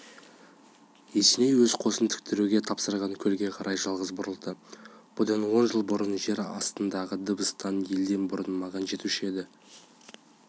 есеней өз қосын тіктіруге тапсырған көлге қарай жалғыз бұрылды бұдан он жыл бұрын жер астындағының дыбысы елден бұрын маған жетуші еді